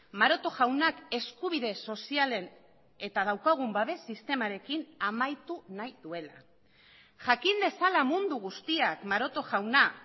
maroto jaunak eskubide sozialen eta daukagun babes sistemarekin amaitu nahi duela jakin dezala mundu guztiak maroto jauna